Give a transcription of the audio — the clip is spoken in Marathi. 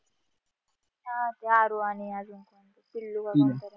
हा जारू आणि आधी